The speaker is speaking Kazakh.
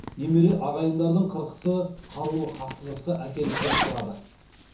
немере ағайындылардың қырқысы қарулы қақтығысқа әкеліп соқтырды